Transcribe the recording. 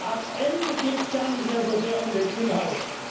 Am Ende geht es gar nicht mehr so sehr um den Inhalt.